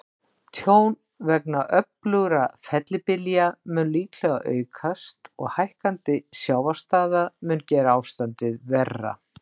Tjón vegna öflugra fellibylja mun líklega aukast, og hækkandi sjávarstaða mun gera ástandið verra.